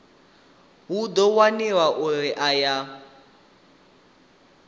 hu ḓo waniwa uri aya